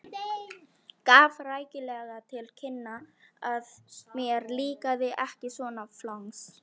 Gaf rækilega til kynna að mér líkaði ekki svona flangs.